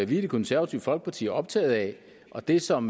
vi i det konservative folkeparti er optaget af og det som